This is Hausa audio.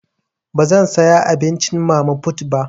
Bazan saya abincin mama put ba.